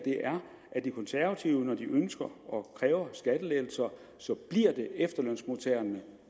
at de konservative ønsker og kræver skattelettelser bliver efterlønsmodtagerne